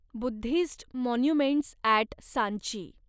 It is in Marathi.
Buddhist monuments at Sanchi